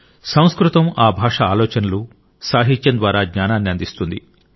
సంస్కృతం ఆ భాష ఆలోచనలు సాహిత్యం ద్వారా జ్ఞానాన్ని అందిస్తుంది